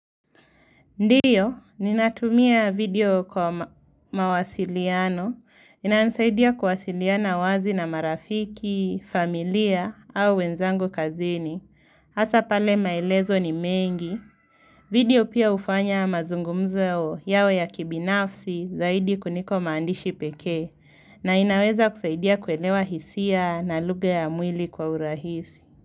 Ndio, ninatumia video kwa mawasiliano. Inanisaidia kuwasiliana wazi na marafiki, familia au wenzangu kazini. Hasa pale maelezo ni mengi. Video pia hufanya mazungumzo yao ya kibinafsi zaidi kuliko maandishi pekee. Na inaweza kusaidia kuelewa hisia na lugha ya mwili kwa urahisi.